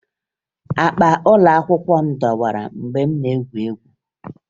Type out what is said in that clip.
Akpa ụlọakwụkwọ m dọwara mgbe m na-egwu egwu